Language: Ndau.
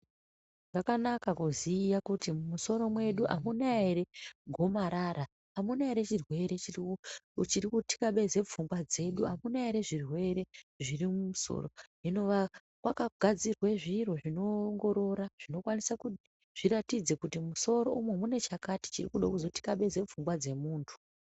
Zvakanaka kuziya kuti musoro mwedu amuna ere gomarara, amuna ere chiri ku chiri kuthikabeze pfungwa dzedu, akuna ere zvirwere zviri mumusoro Hino kwakagadzirwe zviro zvonoongorora ,zvikokwanise kuti zviratidze kuti mumusoro umu mune chakati chinoda kuzothikabeze pfungwa dzemuntu.